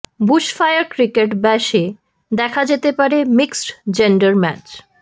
bushfire cricket ব্যাশে দেখা যেতে পারে মিক্সড জেন্ডার ম্যাচ